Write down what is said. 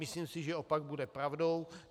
Myslím si, že opak bude pravdou.